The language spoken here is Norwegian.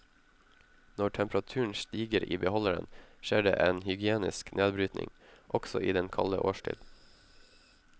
Når temperaturen stiger i beholderen, skjer det en hygienisk nedbrytning, også i den kalde årstid.